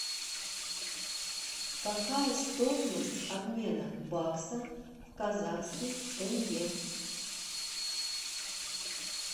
какая стоимость обмена бакса в казахский тенге